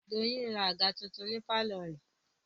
Doyin ra àga tuntun ní pálọ̀ rẹ̀